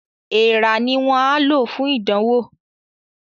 Èèrà ni wọ́n á lò fún ìdánwò